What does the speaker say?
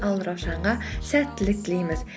ал раушанға сәттілік тілейміз